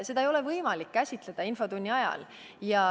Seda ei ole võimalik käsitleda infotunni ajal.